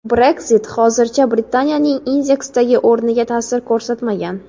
Brexit hozircha Britaniyaning indeksdagi o‘rniga tasir ko‘rsatmagan.